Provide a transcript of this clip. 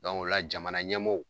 ɔla jamana ɲɛmaw.